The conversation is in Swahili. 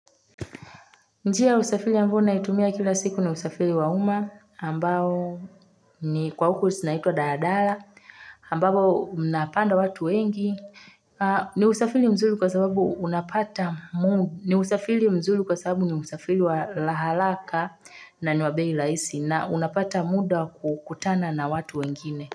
Njia ya usafiri ambayo naitumia kila siku ni usafiri wa umma ambao ni kwa huku zinaitwa dala dala ambavyo mnapanda watu wengi ni usafiri mzuri kwa sababu ni usafiri wa haraka na ni wa bei rahisi na unapata muda wa kutana na watu wengine.